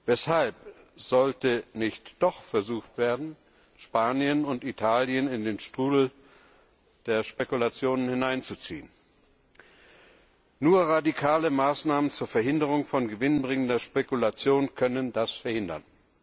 Weshalb sollte nicht doch versucht werden, Spanien und Italien in den Strudel der Spekulationen hineinzuziehen? Nur radikale Maßnahmen zur Verhinderung von gewinnbringender Spekulation können das verhindern.